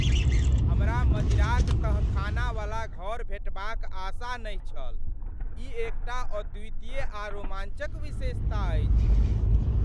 हमरा मदिराक तहखानावला घर भेटबाक आशा नहि छल, ई एकटा अद्वितीय आ रोमाञ्चक विशेषता अछि।